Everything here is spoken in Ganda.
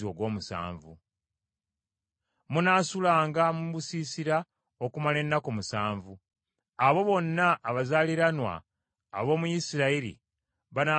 Munaasulanga mu busiisira okumala ennaku musanvu. Abo bonna abazaaliranwa ab’omu Isirayiri banaasulanga mu busiisira,